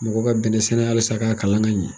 Mɔgɔ ka bɛnɛ sɛnɛ halisa k'a kalan ka ɲɛ.